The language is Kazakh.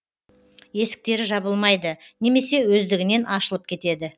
есіктері жабылмайды немесе өздігінен ашылып кетеді